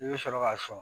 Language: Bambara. I bɛ sɔrɔ ka sɔn